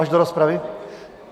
Až do rozpravy?